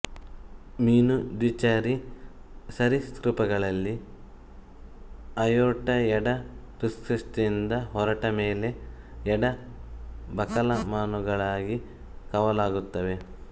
ಮೀನು ದ್ವಿಚರಿ ಸರೀಸೃಪಗಳಲ್ಲಿ ಅಯೋರ್ಟ ಎಡ ಹೃತ್ಕುಕ್ಷಿಯಿಂದ ಹೊರಟ ಮೇಲೆ ಎಡ ಬಲಕಮಾನುಗಳಾಗಿ ಕವಲಾಗುತ್ತವೆ